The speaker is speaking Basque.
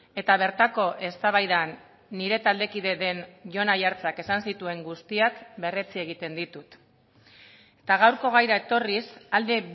eta bertako eztabaidan nire taldekide den jon aiartzak esan zituen guztiak berretsi egiten ditut eta gaurko gaira etorriz alde